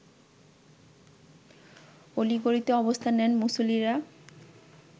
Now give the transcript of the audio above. অলি-গলিতে অবস্থান নেন মুসল্লিরা।